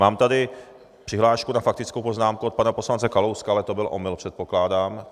Mám tady přihlášku na faktickou poznámku od pana poslance Kalouska, ale to byl omyl, předpokládám?